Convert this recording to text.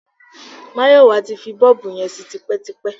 Máyọ̀wá ti fi bọ́ọ̀bù yẹn sí tipẹ́tipẹ́.